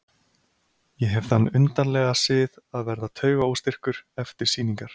Ég hef þann undarlega sið að verða taugaóstyrkur eftir sýningar.